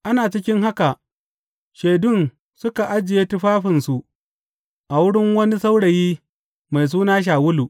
Ana cikin haka, shaidun suka ajiye tufafinsu a wurin wani saurayi mai suna Shawulu.